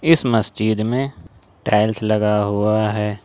इस मस्जिद में टाइल्स लगा हुआ है।